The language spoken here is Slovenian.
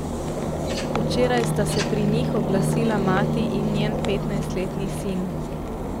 Včeraj sta se pri njih oglasila mati in njen petnajstletni sin.